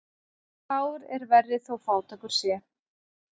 Fár er verri þó fátækur sé.